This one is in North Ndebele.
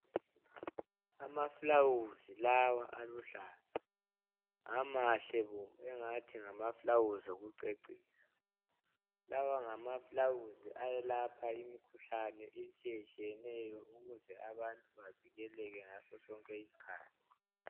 Amaflawuzi lawa aluhlaza hamahle engathi ngamaflawuzi wokucecisa lawa ngamaflawuzi ayelapha imikhuhlane etshiyetshiyeneyo ukuze abantu bavikele ngaso zonke izikhathi.